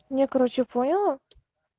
я короче поняла